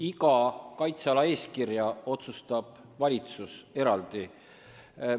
Iga kaitseala eeskirja üle otsustab valitsus eraldi.